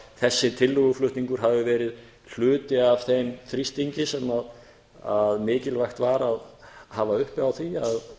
þessi tillöguflutningur hafi verið hluti af þeim þrýstingi sem mikilvægt var að hafa uppi á því að